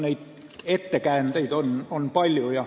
Neid ettekäändeid on palju.